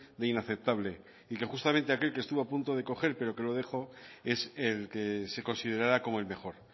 de inaceptable y que justamente aquel que estuvo a punto de coger pero que lo dejó es el que se considerará como el mejor